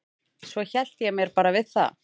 Svo hélt ég mér bara við það.